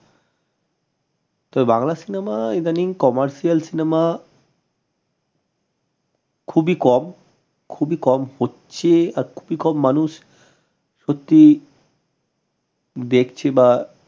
তো বাংলা cinema ইদানিং commercial খুবই কম খুবই কম হচ্ছে আর খুবই কম মানুষ সত্যি দেখছে বা